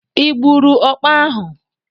Ị gburu ọkpa ahu?